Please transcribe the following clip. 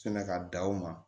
Sɛnɛ ka da o ma